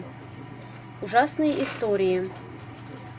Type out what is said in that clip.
ужасные истории